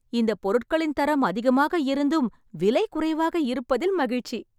இந்தப் பொருட்களின் தரம் அதிகமாக இருந்தும் விலை குறைவாக இருப்பதில் மகிழ்ச்சி.